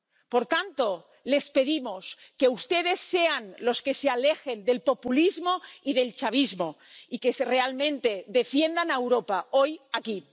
Por tanto, les pedimos que ustedes sean los que se alejen del populismo y del chavismo y que realmente defiendan a Europa, hoy, aquí.